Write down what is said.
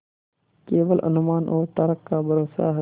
केवल अनुमान और तर्क का भरोसा है